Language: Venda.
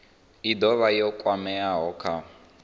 i dovha ya kwamea kha